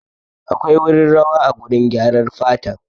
Akwai wurin rawa a gurin gyarar fatan